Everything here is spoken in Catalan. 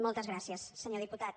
moltes gràcies senyor diputat